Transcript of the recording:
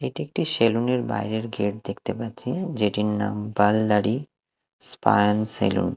এটি একটি সেলুন -এর বাইরের গেট দেখতে পাচ্ছি যেটির নাম Pal Dari spa and salon.